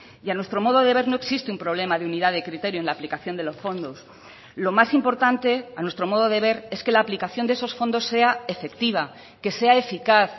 y a nuestro modo de ver no existe un problema de unidad de criterio en la aplicación de los fondos lo más importante a nuestro modo de ver es que la aplicación de esos fondos sea efectiva que sea eficaz